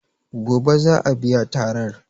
Gobe za a biya tarar.